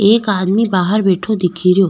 एक आदमी बाहर बैठो दिखेरो।